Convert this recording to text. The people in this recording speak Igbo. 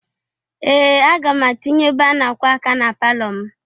Ee! Aga m atinye ebe a na-akwọ aka na palọ m.